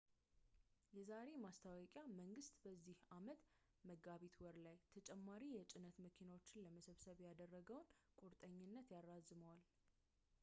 የዛሬ ማስታወቂያ መንግሥት በዚህ ዓመት መጋቢት ወር ላይ ተጨማሪ የጭነት መኪናዎችን ለመሰብሰብ ያደረገውን ቁርጠኝነት ያራዝመዋል